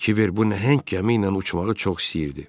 Kiber bu nəhəng gəmi ilə uçmağı çox istəyirdi.